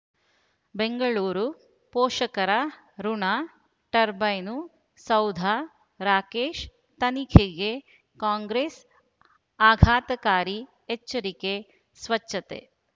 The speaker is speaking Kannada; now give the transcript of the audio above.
ಬೆಂಗಳೂರು ಪೋಷಕರಋಣ ಟರ್ಬೈನು ಸೌಧ ರಾಕೇಶ್ ತನಿಖೆಗೆ ಕಾಂಗ್ರೆಸ್ ಆಘಾತಕಾರಿ ಎಚ್ಚರಿಕೆ ಸ್ವಚ್ಛತೆ